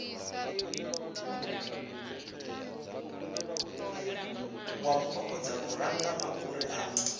wa kokodza luranga mafhuri a